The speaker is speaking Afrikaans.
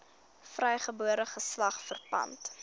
vrygebore geslag verpand